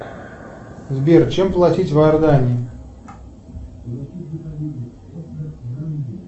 сбер чем платить в иордании